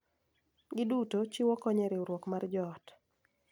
Giduto chiwo kony e riwruok mar joot.